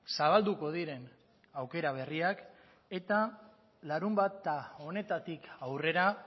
zabalduko diren aukera berriak eta larunbata honetatik aurrera